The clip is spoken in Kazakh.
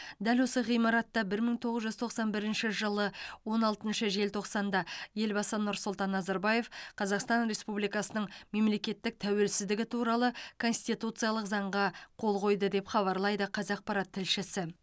дәл осы ғимаратта бір мың тоғыз жүз тоқсан бірінші жылы он алтыншы желтоқсанда елбасы нұрсұлтан назарбаев қазақстан республикасының мемлекеттік тәуелсіздігі туралы конституциялық заңға қол қойды деп хабарлайды қазақпарат тілшісі